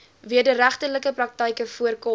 wederregtelike praktyke voorkom